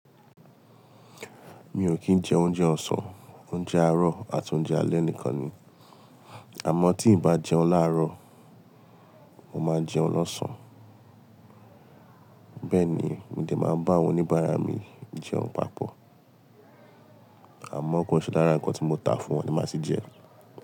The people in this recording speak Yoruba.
Mi ò kí ń jẹ oúnjẹ ọ̀sán, oúnjẹ àárọ̀ àti oúnjẹ alẹ́ nìkan ni, àmọ́ tí n bá jẹun láàárọ̀, mo máa jẹun losán. Bẹ́ẹ̀ ni, mo dè máa nbá awọn oníbàárà mi jẹun papọ̀, àmọ́ ko nṣe lára nǹkan tí mo tà fún wọn ni máa tì jẹ.